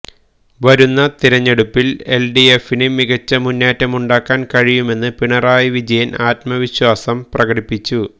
വരുന്ന തെരഞ്ഞെടുപ്പില് L D എഫിന് മികച്ച മുന്നേറ്റമുണ്ടാക്കാന് കഴിയുമെന്ന് പിണറായി വിജയന് ആത്മവിശ്വാസം പ്രകടിപ്പിച്ചു